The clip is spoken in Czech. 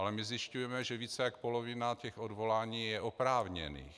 Ale my zjišťujeme, že více jak polovina těch odvolání je oprávněných.